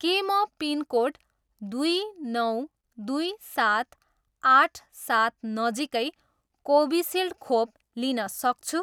के म पिनकोड दुई नौ दुई सात आठ सात नजिकै कोभिसिल्ड खोप लिन सक्छु